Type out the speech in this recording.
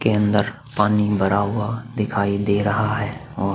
के अंदर पानी भरा हुआ दिखाई दे रहा है और --